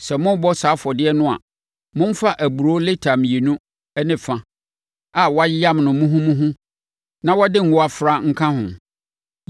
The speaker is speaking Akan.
Sɛ morebɔ saa afɔdeɛ no a, momfa aburoo lita mmienu ne fa a wɔayam no muhumuhu na wɔde ngo afra nka ho.